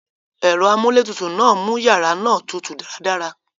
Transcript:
Èro amúlé tutù náà mú yàrá náà tutù dáradára